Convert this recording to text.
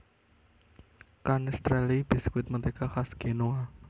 Canestrelli biskuit mentega khas Genoa